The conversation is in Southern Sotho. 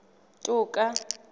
toka